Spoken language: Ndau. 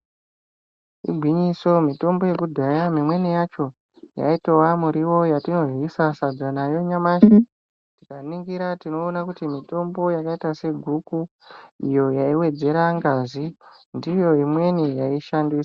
Igwinyiso mitombo yekudhaya yaitova miriyo yatinoryisa sadza nanyamashi tikaringira tinoona mitombo yakaita seguku iyo yaiwedzera ngazi ndiyo imwe yaishandiswa.